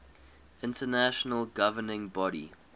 international governing body